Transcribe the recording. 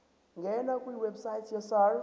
ngena kwiwebsite yesars